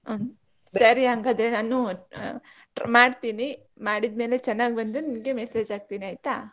ಸರಿ ಹಾಗಾದ್ರೆ ನಾನೂ ಮಾಡ್ತೀನಿ ಮಾಡಿದ್ಮೇಲೆ ಚನ್ನಾಗ್ ಬಂದ್ರೆ ನಿಮ್ಗೆ message ಹಾಕ್ತಿನಿ ಆಯ್ತಾ.